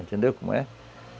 Entendeu como é?